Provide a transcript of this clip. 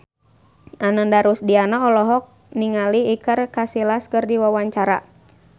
Ananda Rusdiana olohok ningali Iker Casillas keur diwawancara